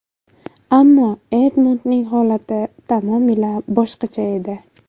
Ammo Edmundning holati tamomila boshqacha edi.